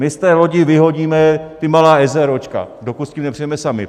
My z té lodi vyhodíme ta malá eseróčka, dokud s tím nepřijdeme sami.